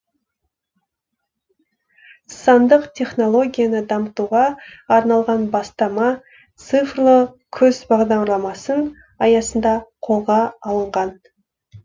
сандық технологияны дамытуға арналған бастама цифрлы күз бағдарламасын аясында қолға алынған